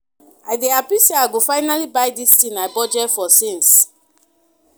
I dey happy say I go finally buy dis thing I budget for since